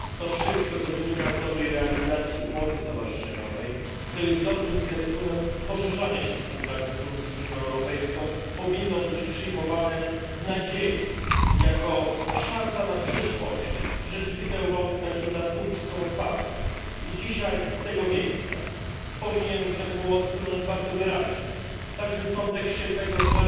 To wszystko, co wynika z realizacji umowy stowarzyszeniowej, co jest dobrym zwiastunem poszerzania się współpracy Turcji z Unią Europejską, powinno być przyjmowane w nadziei, jako szansa na przyszłość, że drzwi do Europy także dla Turcji są otwarte. Dzisiaj z tego miejsca powinien ten głos płynąć bardzo wyraźnie. Także w kontekście tego,